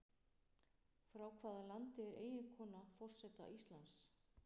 Frá hvaða landi er eiginkona forseta Íslands?